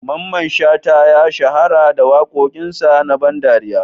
Mamman Shata ya shahara da wakokin sa na ban ɗariya.